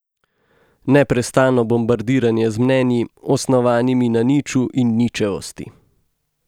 Neprestano bombardiranje z mnenji, osnovanimi na niču in ničevosti.